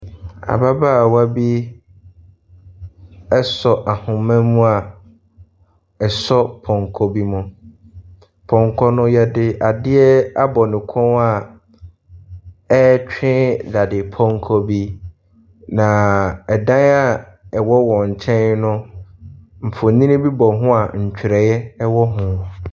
Ababaawa bi asɔ ahoma mu a ɛsɔ pɔnkɔ bi mu. Pɔnkɔ no, wɔde adeɛ abɔ ne kɔn a ɛretwe dadepɔnkɔ bi, na dan a ɛwɔ wɔn nkyɛn no, mfonin bi bɔ ho a ntwerɛeɛ wɔ ho.